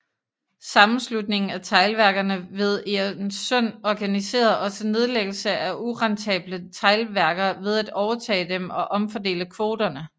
Sammenslutningen af teglværkerne ved Egernsund organiserede også nedlæggelse af urentable teglværker ved at overtage dem og omfordele kvoterne